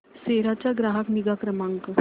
सेरा चा ग्राहक निगा क्रमांक